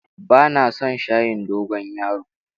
Ba na son shayin dogon yaro.